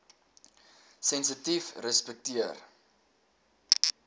sensitiefrespekteer